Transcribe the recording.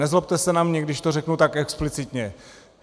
Nezlobte se na mne, když to řeknu tak explicitně.